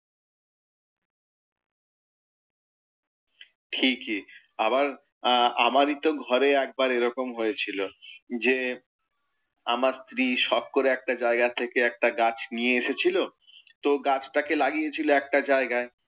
ঠিকই। আবার আহ আমারই তো ঘরে একবার একরম হয়েছিল, যে আমার স্ত্রী শখ করে একটা জায়গা থেকে একটা গাছ নিয়ে এসেছিলো, তো গাছ টাকে লাগিয়েছিল একটা জায়াগায়।